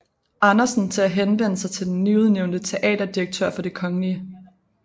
Andersen til at henvende sig til den nyudnævnte teaterdirektør for Det kgl